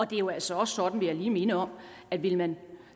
det er jo altså også sådan vil jeg lige minde om at vil man